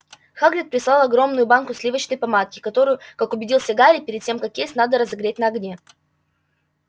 хагрид прислал огромную банку сливочной помадки которую как убедился гарри перед тем как есть надо разогреть на огне